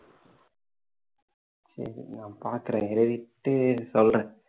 சரி நான் பார்க்கிறேன் எழுதிட்டு சொல்றேன்